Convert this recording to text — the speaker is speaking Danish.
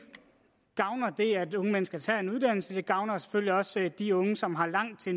gavner at unge mennesker tager en uddannelse det gavner selvfølgelig også de unge som har langt til